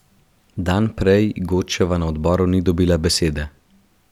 Dan prej Godčeva na odboru ni dobila besede.